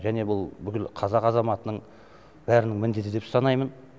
және бұл бүкіл қазақ азаматының бәрінің міндеті деп санаймын